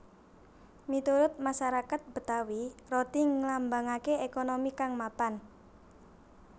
Miturut masarakat Betawi roti nglambangaké ékonomi kang mapan